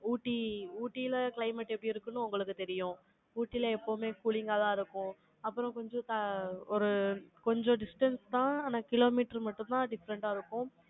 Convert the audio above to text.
ஊட்டி, ஊட்டில climate எப்படி இருக்கும்னு, உங்களுக்கு தெரியும். ஊட்டியில எப்பவுமே, cooling ஆதான் இருக்கும். அப்புறம், கொஞ்சம் ஆ ஒரு, கொஞ்சம் distance தான். ஆனா, kilometre மட்டும்தான், different ஆ இருக்கும்.